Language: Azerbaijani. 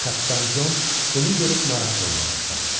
Kapitan Con bunu görüb narahat olmağa başladı.